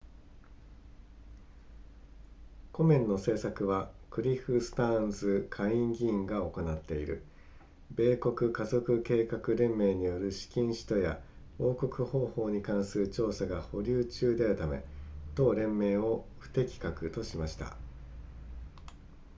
コメンの政策はクリフスターンズ下院議員が行っている米国家族計画連盟による資金使途や報告方法に関する調査が保留中であるため同連盟を不適格としました